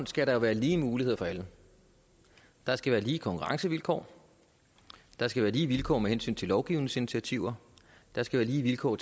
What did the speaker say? skal være lige muligheder for alle der skal være lige konkurrencevilkår der skal være lige vilkår med hensyn til lovgivningsinitiativer der skal være lige vilkår